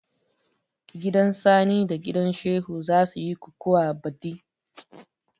Gidan sani da gidan Shehu za suyi kukuwa baɗi